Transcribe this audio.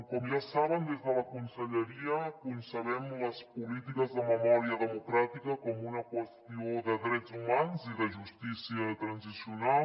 com ja sabem des de la conselleria concebem les polítiques de memòria democràtica com una qüestió de drets humans i de justícia transicional